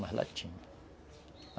Mas lá tinha.